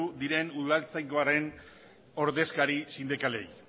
diren udaltzaingoaren ordezkari sindikalei